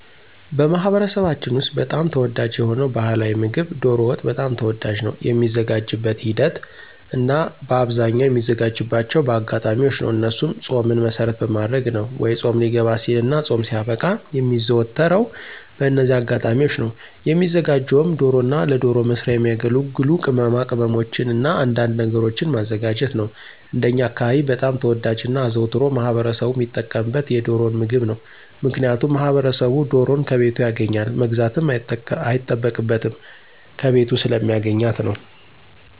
በማኅበረሰባችን ውስጥ በጣም ተወዳጅ የሆነው ባሕላዊ ምግብ ዶሮ ወጥ በጣም ተወዳጅ ነው። የሚዘጋጅበትን ሂደት እናበአብዛኛው የሚዘጋጅባቸው በአጋጣሚዎች ነው እነሱም ፆምን መሰረት በማድረግ ነው ወይ ፆም ሊገባ ሲልና ፆም ሲያበቃ የሚዘወተረው በእነዚህ አጋጣሚዎች ነው። የሚዘጋጀውም ዶሮና ለዶሮ መስሪያ የሚያገለግሉ ቅማቅመሞችንና አንዳንድ ነገሮችን ማዘጋጀት ነው። እንደኛ አካባቢ በጣም ተወዳጅና አዘውትሮ ማህበረሰቡ ሚጠቀምበት የዶሮን ምግብ ነው። ምክንያቱም ማህበረሰቡ ዶሮን ከቤቱ ያገኛል መግዛትም አይጠበቅበትም ከቤቱ ስለሚያገኛት ነው።